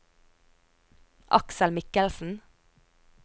Aksel Mikkelsen